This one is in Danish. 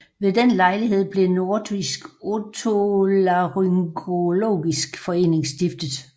Ved den lejlighed blev Nordisk Otolaryngologisk Forening stiftet